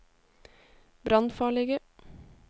brannfarlige